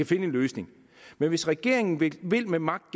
finde en løsning men hvis regeringen med magt